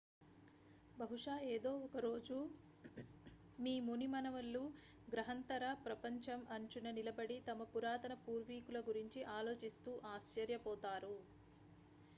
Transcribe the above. బహుశా ఎదో ఒక రోజు మీ ముని మనవళ్లు గ్రహాంతర ప్రపంచం అంచున నిలబడి తమ పురాతన పూర్వీకుల గురించి ఆలోచిస్తూ ఆశ్చర్యపోతారా